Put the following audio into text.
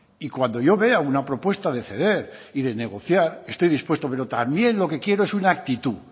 y cuando yo vea una propuesta de ceder y de negociar estoy dispuesto pero también lo que quiero es una actitud